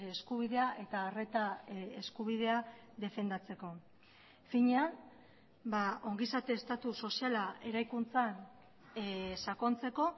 eskubidea eta arreta eskubidea defendatzeko finean ongizate estatu soziala eraikuntzan sakontzeko